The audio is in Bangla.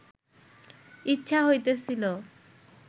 ইচ্ছা হইতেছিল